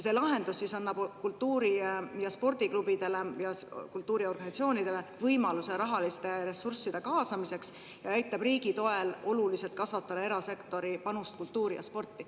See lahendus annab kultuuri- ja spordiklubidele ja kultuuriorganisatsioonidele võimaluse rahaliste ressursside kaasamiseks ja aitab riigi toel oluliselt kasvatada erasektori panust kultuuri ja sporti.